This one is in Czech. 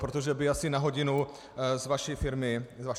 Protože by asi na hodinu z vaší firmy letěl.